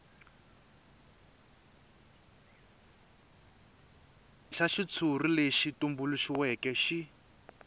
xa xitshuri lexi tumbuluxiweke xi